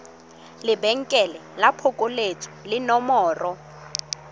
lebenkele la phokoletso le nomoro